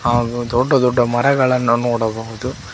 ಹಾಗು ದೊಡ್ಡ ದೊಡ್ಡ ಮರಗಳನ್ನು ನೋಡಬಹುದು.